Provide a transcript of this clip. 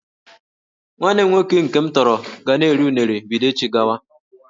Nwanne m nwoke nke m tọrọ ga na-eri unere bido echi gawa